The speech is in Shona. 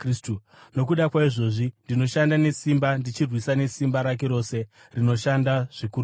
Nokuda kwaizvozvi, ndinoshanda nesimba, ndichirwisa nesimba rake rose, rinoshanda zvikuru mandiri.